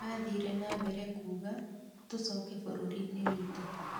Mathire na mbere kuuga:Tucoke bururinĩ witũ".